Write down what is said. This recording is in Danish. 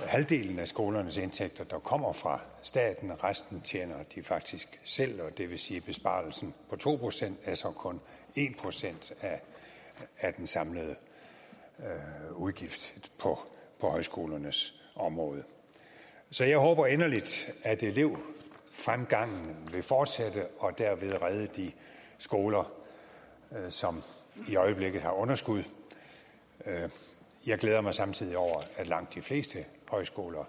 er halvdelen af skolernes indtægter der kommer fra staten resten tjener de faktisk selv og det vil sige at besparelsen på to procent så kun er en procent af den samlede udgift på højskolernes område så jeg håber inderligt at elevfremgangen vil fortsætte og derved redde de skoler som i øjeblikket har underskud jeg glæder mig samtidig over at langt de fleste højskoler